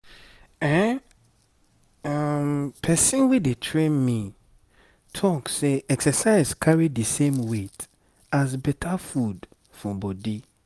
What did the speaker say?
ehn person wey dey train me talk say exercise carry the same weight as better food for body.